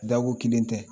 Dako kelen tɛ